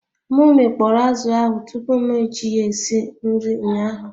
M mi kpọrọ azụ ahụ tupu m eji ya esi nri ụnyaahụ